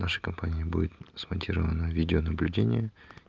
нашей компанией будет смонтировано видеонаблюдение